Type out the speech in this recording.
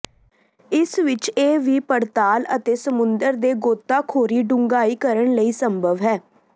ਇਸ ਵਿਚ ਇਹ ਵੀ ਪੜਤਾਲ ਅਤੇ ਸਮੁੰਦਰ ਦੇ ਗੋਤਾਖੋਰੀ ਡੂੰਘਾਈ ਕਰਨ ਲਈ ਸੰਭਵ ਹੈ